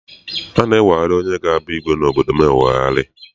A na-eweghari onye ga abụ igwe obodo m eweghari.